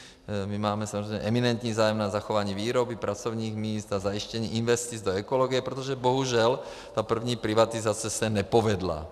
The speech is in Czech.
My máme samozřejmě eminentní zájem na zachování výroby, pracovních míst a zajištění investic do ekologie, protože bohužel ta první privatizace se nepovedla.